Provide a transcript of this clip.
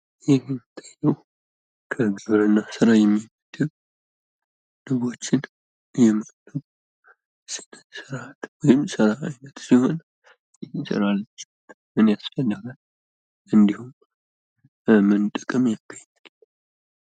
ይህ የሚታየው ከግብርና ስራ የሚመደብ ንቦችን የማርባት ስራ ነው። ይህም ምን ጥቅም ያስገኛል?